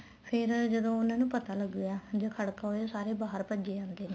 ਫ਼ੇਰ ਜਦ ਉਹਨਾ ਨੂੰ ਪਤਾ ਲੱਗਦਾ ਜਦ ਖੜਕਾ ਹੁੰਦਾ ਸਾਰੇ ਬਾਹਰ ਭੱਜੇ ਜਾਂਦੇ ਨੇ